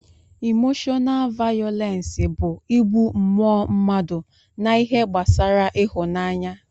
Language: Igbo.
Imoshọnaal vayọlensi bụ ịgbụ mmụọ mmadụ na ihe gbasara ịhụnaanya